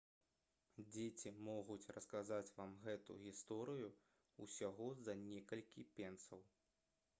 дзеці могуць расказаць вам гэту гісторыю ўсяго за некалькі пенсаў